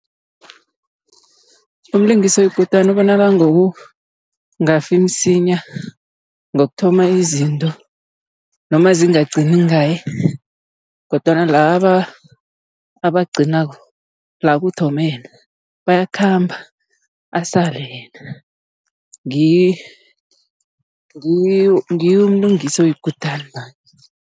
Umlingisi oyikutani ubonakala ngokungafi msinya, ngokuthoma izinto noma zingagcini ngaye. Kodwana laba abagcinako, la kuthome yena bayakhamba asale yena. Nguye umlingisi oyikutani loyo.